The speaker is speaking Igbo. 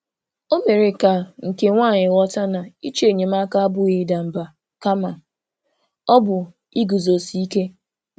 O mere ka nke nwaanyị ghọta na ịchọ enyemaka abụghị ịda mba, kama ọ bụ iguzosi ike.